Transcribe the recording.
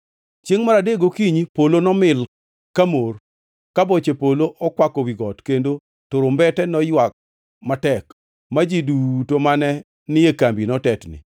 Chiengʼ mar adek gokinyi, polo nomil kamor, ka boche polo okwako wi got kendo turumbete noywag matek, ma ji duto mane ni e kambi notetni.